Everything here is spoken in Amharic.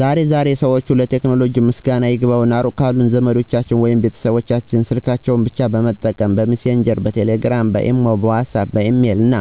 ዛሬ ዛሬ ሰዎች ለቴክኖሎጂ ምስጋና ይግባውና ሩቅ ካሉ ዘመዶቻቸው ወይም ቤተሰቦቻቸው ስልካቸውን ብቻ በመጠቀም :- በሚሴንጀር፣ በቴሌግራም፣ በኢሞ፣ በዋትስአፕ፣ በኢሜል እና